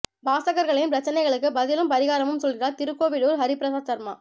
வாசகர்களின் பிரச்னைகளுக்கு பதிலும் பரிகாரமும் சொல்கிறார் திருக்கோவிலூர் ஹரிபிரசாத் சர்மா